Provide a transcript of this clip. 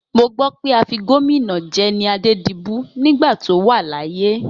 Mo gbọ́ pé afigómìnà jẹ ni Adédibú nígbà tó wà láyé.